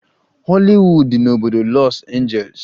Hollywood dị n'obodo Los Angeles.